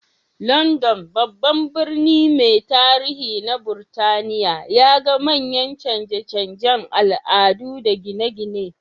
London, babban birni mai tarihi na Burtaniya, ya ga manyan canje-canjen al'adu da gine-gine.